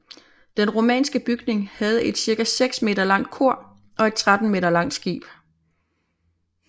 Den romanske bygning havde et cirka 6 m langt kor og et 13 m langt skib